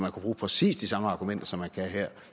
kunne bruge præcis de samme argumenter om som man kan her